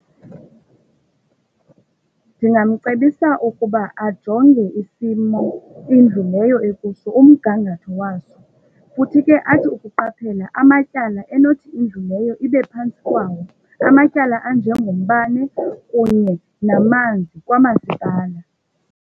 Ndingamcebisa ukuba ajonge isimo kwindlu leyo ekuso umgangatho waso, futhi ke athi ukuqaphela amatyala enothi indlu leyo ibe phantsi kwawo. Amatyala anjengombane kunye namanzi kwamasipala.